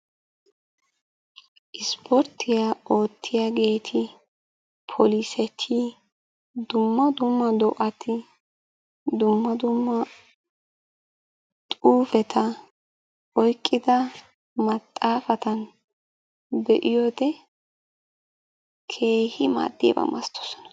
Ispporttiyaa oottiyageti, poliseti, dumma dumma do'ati, dumma dumma xuufeta oyqida maxaafata be'iyode keehi maaddiyaba masatoosona.